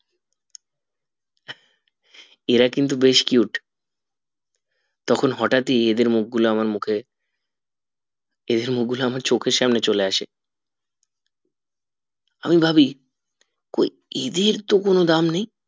এরা কিন্তু বেশ cute তখন হটাৎ ই এদের মুখ্য গুলা আমার মুখে এদের মুখ গুলা আমার চোখের সামনে চলে আসে আমি ভাবি কি এদেরতো কোনো দাম নেই